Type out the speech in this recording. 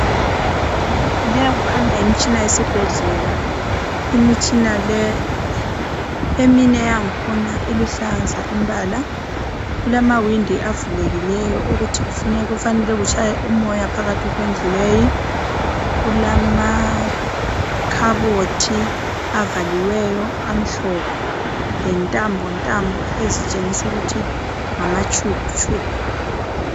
Leyi kukhanya yimtshina yesibhedlela, imitshina le eminye iluhlaza imbala kulamawindi avulekileyo ukuthi kufanele kutshaye umoya endlini Leyi. Kulamakhabothi avaliweyo amhlophe lentambo ntambo ezitshengisa ukuthi ngama tube.